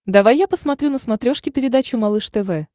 давай я посмотрю на смотрешке передачу малыш тв